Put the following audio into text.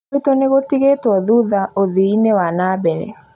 Gwitũ nĩgũtigĩtwo thutha ũthii-inĩ wa nambere